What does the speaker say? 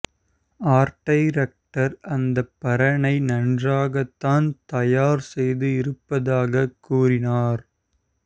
art director அந்தப் பரணை நன்றாகத்தான் தயார் செய்து இருப்பதாக கூறினார்